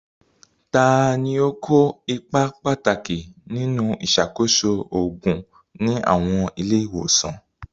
Ta ni ó kó ipa pàtàkì nínú ìṣàkóso òògùn ní àwọn ilé ìwòsàn?